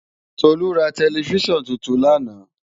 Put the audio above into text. Tolu rá tèlèfisán tútún làná